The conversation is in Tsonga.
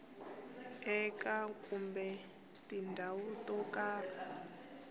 eka kumbe tindhawu to karhi